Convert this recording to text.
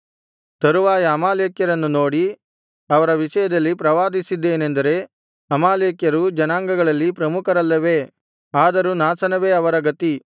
ತರುವಾಯ ಅಮಾಲೇಕ್ಯರನ್ನು ನೋಡಿ ಅವರ ವಿಷಯದಲ್ಲಿ ಪ್ರವಾದಿಸಿದ್ದೇನೆಂದರೆ ಅಮಾಲೇಕ್ಯರು ಜನಾಂಗಗಳಲ್ಲಿ ಪ್ರಮುಖರಲ್ಲವೇ ಆದರೂ ನಾಶನವೇ ಅವರ ಗತಿ